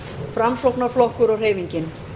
framsóknarflokkur og hreyfingin